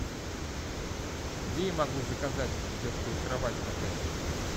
где я могу заказать детскую кровать в отеле